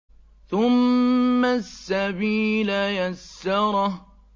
ثُمَّ السَّبِيلَ يَسَّرَهُ